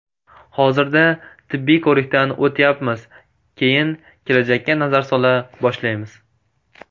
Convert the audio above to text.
Hozirda tibbiy ko‘rikdan o‘tyapmiz, keyin kelajakka nazar sola boshlaymiz.